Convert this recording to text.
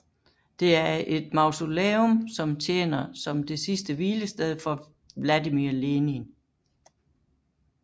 Det er et mausoleum som tjener som det sidste hvilested for Vladimir Lenin